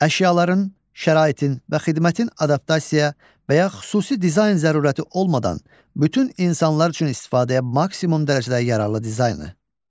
Əşyaların, şəraitin və xidmətin adaptasiya və ya xüsusi dizayn zərurəti olmadan bütün insanlar üçün istifadəyə maksimum dərəcədə yararlı dizaynı.